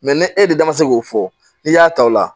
ni e de da ma se k'o fɔ n'i y'a ta o la